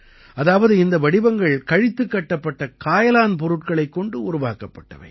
அதாவது இந்த வடிவங்கள் கழித்துக் கட்டப்பட்ட காயலான் பொருட்களைக் கொண்டு உருவாக்கப்பட்டவை